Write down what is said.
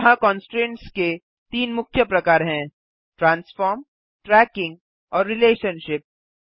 यहाँ कन्स्ट्रेन्ट्स के तीन मुख्य प्रकार हैं - ट्रांसफार्म ट्रैकिंग और रिलेशनशिप